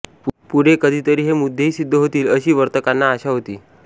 पुढे कधीतरी हे मुद्देही सिद्ध होतील अशी वर्तकांना आशा होती